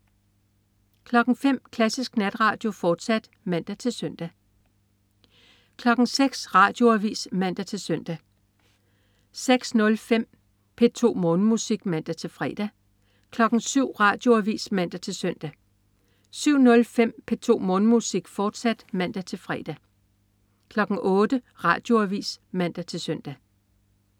05.00 Klassisk Natradio, fortsat (man-søn) 06.00 Radioavis (man-søn) 06.05 P2 Morgenmusik (man-fre) 07.00 Radioavis (man-søn) 07.05 P2 Morgenmusik, fortsat (man-fre) 08.00 Radioavis (man-søn)